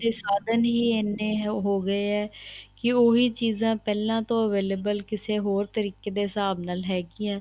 ਸਾਧਨ ਹੀ ਐਨੇ ਹੀ ਹੋ ਗਏ ਹੈ ਕੀ ਉਹ ਵੀ ਚੀਜ਼ਾਂ ਪਹਿਲਾਂ ਤੋਂ available ਕਿਸੇ ਹੋਰ ਤਰੀਕੇ ਦੇ ਹਿਸਾਬ ਨਾਲ ਹੈਗੀਆਂ